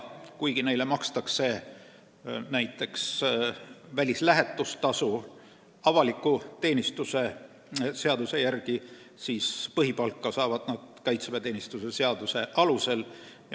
Kuigi neile makstakse näiteks välislähetustasu avaliku teenistuse seaduse järgi, saavad nad põhipalka siiski kaitseväeteenistuse seaduse alusel.